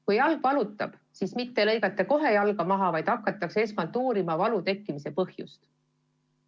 Kui jalg valutab, siis mitte ei lõigata kohe jalga maha, vaid hakatakse esmalt uurima valu tekkimise põhjust.